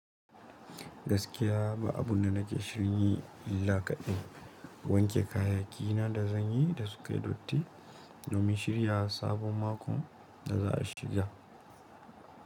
Gaskiya ba abun da nake shirin yi illa kaɗai. Wanke kayaki na da zanyi da sukai dotti domin shirya sabon mako da za a shiga.